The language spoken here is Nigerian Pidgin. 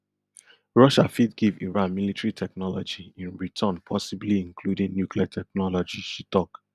russia fit give iran military technology in return possibly including nuclear technology she tok